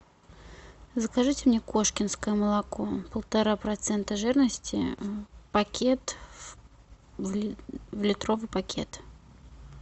закажите мне кошкинское молоко полтора процента жирности пакет в литровый пакет